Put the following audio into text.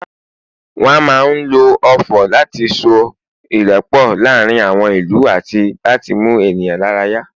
wan ma n lo ofò lati so irepo laarin àwọn ìlú ati láti mú ènìyàn lára yá